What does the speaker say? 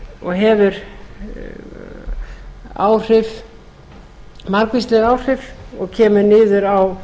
og hefur margvísleg áhrif og kemur niður á